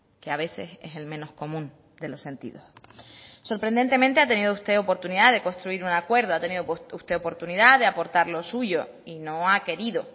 que a veces es el menos común de los sentidos sorprendentemente ha tenido usted oportunidad de construir un acuerdo ha tenido usted oportunidad de aportar lo suyo y no ha querido